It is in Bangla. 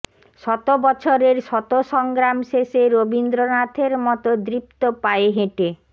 শত বছরের শত সংগ্রাম শেষে রবীন্দ্রনাথের মতো দৃপ্ত পায়ে হেঁটে